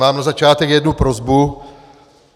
Mám na začátek jednu prosbu.